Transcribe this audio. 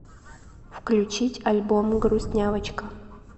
включить альбом грустнявочка